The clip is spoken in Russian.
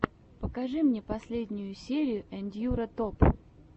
покажи мне последнюю серию ендьюро топ